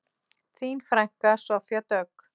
Þín frænka, Soffía Dögg.